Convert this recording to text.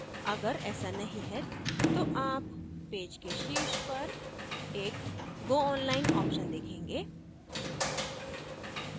अगर ऐसा नहीं है तो आप पेज के शीर्ष पर एक go online option देखेंगे